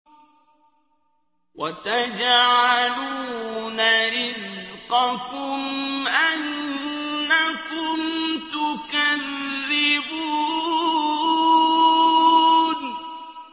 وَتَجْعَلُونَ رِزْقَكُمْ أَنَّكُمْ تُكَذِّبُونَ